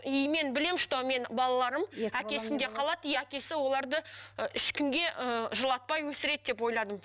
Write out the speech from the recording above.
и мен білемін что менің балаларым әкесінде қалады и әкесі оларды ы ешкімге ыыы жылатпай өсіреді деп ойладым